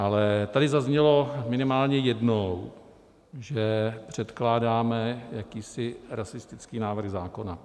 Ale tady zaznělo minimálně jednou, že předkládáme jakýsi rasistický návrh zákona.